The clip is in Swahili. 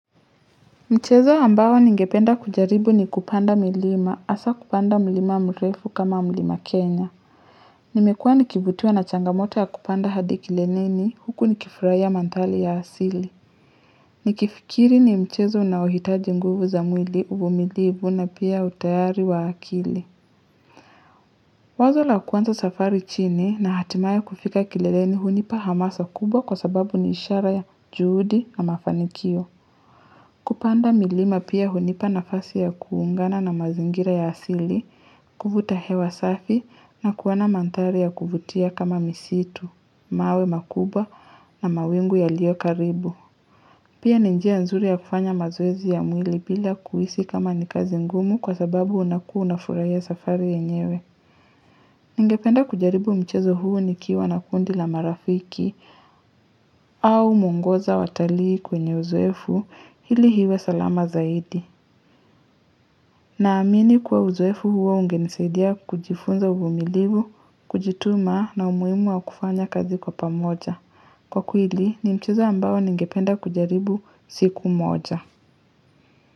Mchezo ambao ningependa kujaribu ni kupanda milima hasa kupanda mlima mrefu kama mlima Kenya. Nimekua nikivutiwa na changamoto ya kupanda hadi kileneni huku nikifurahia mandhari ya asili. Nikifikiri ni mchezo unaohitaji nguvu za mwili uvumilivu na pia utayari wa akili. Wazo la kwanza safari chini na hatimaye kufika kileleni hunipa hamasa kubwa kwa sababu ni ishara ya juhudi na mafanikio. Kupanda milima pia hunipa nafasi ya kuungana na mazingira ya asili, kuvuta hewa safi na kuwa na mandhari ya kuvutia kama misitu, mawe makuba na mawingu yaliokaribu. Pia ni njia zuri ya kufanya mazoezi ya mwili bila kuhisi kama ni kazi ngumu kwa sababu unakua unafurahia safari yenyewe. Ningependa kujaribu mchezo huu nikiwa na kundi la marafiki au mwongoza watalii kwenye uzoefu ili iwe salama zaidi. Naamini kuwa uzoefu huo ungenisaidia kujifunza uvumilivu, kujituma na umuhimu wa kufanya kazi kwa pamoja. Kwa kweli, ni mchezo ambao ningependa kujaribu siku moja.